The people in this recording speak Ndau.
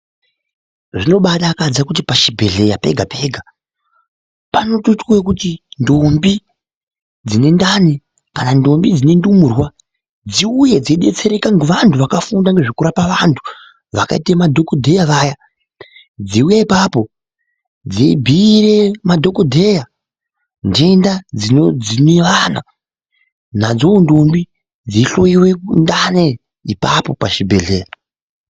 Zvinobaadakadza kuti pachibhehleya pega pega panotoitwa okuti ntombi dzine ndani , kana ntombi dzine ndumurwa dziuye dzeidetsereka ngevantu vakafunda ngezvekurapa vantu vakaita ngezvemadhokodheya vaya dzeuya ipapo dzeibhuire madhokodheya ndenda dzinodzima vana nadzoo ntombi dzeihloiwa ndani ipapo pazvibhehleya